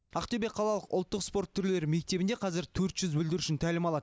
ақтөбе қалалық ұлттық спорт түрлері мектебінде қазір төрт жүз бүлдіршін тәлім алады